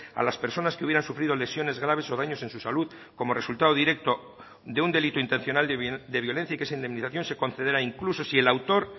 a las personas que hubieran sufrido lesiones graves o daños en su salud como resultado directo de un delito intencional de violencia y que esa indemnización se concederá incluso si el autor